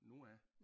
Noah